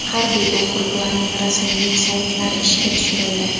Harbiy okruglarning rasmiy veb-saytlari ishga tushirildi.